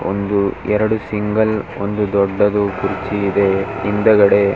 ಒಂದು ಎರಡು ಸಿಂಗಲ್ ಒಂದು ದೊಡ್ಡದು ಕುರ್ಚಿ ಇದೆ ಹಿಂದಗಡೆ .